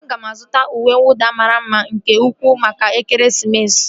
Aga m azụta uwe nwụda mara mma nke ukwuu maka ekeresimesi